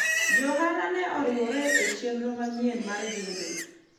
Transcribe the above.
jo ohala ne oriwore e chenro manyien mar gedo